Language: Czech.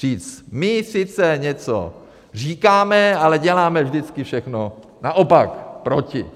Říct: My sice něco říkáme, ale děláme vždycky všechno naopak, proti.